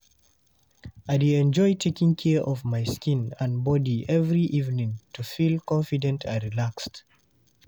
I dey enjoy taking care of my skin and body every evening to feel confident and relaxed.